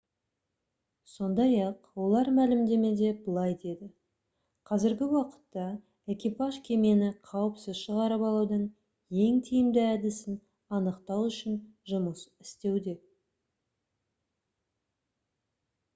сондай-ақ олар мәлімдемеде былай деді: «қазіргі уақытта экипаж кемені қауіпсіз шығарып алудың ең тиімді әдісін анықтау үшін жұмыс істеуде»